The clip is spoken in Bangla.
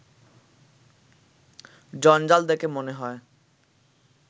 জঞ্জাল দেখে মনে হয়